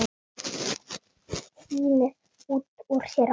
Tínir út úr sér orðin.